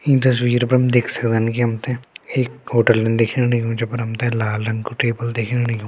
ईं तस्वीर पर हम देख सक्दन की हमते एक होटलन दिखेण लग्युं जे पर हमते लाल रंग कु टेबल दिखेण लग्यूं।